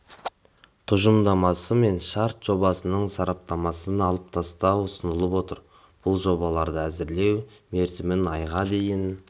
тұжырымдамасы мен шарт жобасының сараптамасын алып тастау ұсынылып отыр бұл жобаларды әзірлеу мерзімін айға дейін